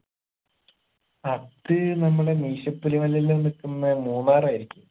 അത് നമ്മളെ മീശപ്പുലി മലയെല്ലും നിക്കുന്ന മൂന്നാർ ആയിരിക്കും